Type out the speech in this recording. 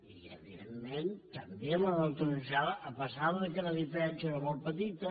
i evidentment també la neutralitzada a pesar que la diferència era molt petita